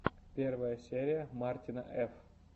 первая серия мартина ф